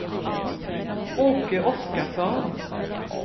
Åke Oskarsson